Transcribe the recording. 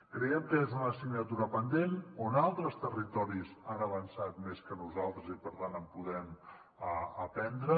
creiem que és una assignatura pendent on altres territoris han avançat més que nosaltres i per tant en podem aprendre